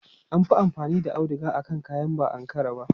An fi amfani da auduga akan kayan ba Ankara ba.